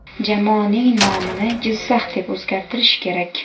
Jamoaning nomini "Jizzax" deb o‘zgartirish kerak.